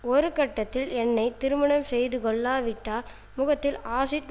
ஒரு கட்டத்தில் என்னை திருமணம் செய்துகொள்ளாவிட்டால் முகத்தில் ஆசிட்